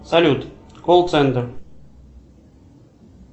салют колл центр